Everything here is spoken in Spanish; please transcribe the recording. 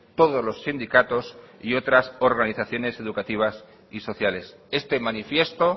todos los sindicatos y otras organizaciones educativas y sociales este manifiesto